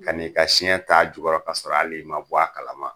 Ka na i ka siɲɛ t'a jukɔrɔ k'a sɔrɔ al'i ma bɔ a kalama